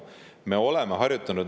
Me oleme harjutanud.